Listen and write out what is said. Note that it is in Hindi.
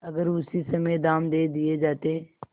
अगर उसी समय दाम दे दिये जाते